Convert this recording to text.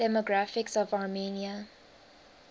demographics of armenia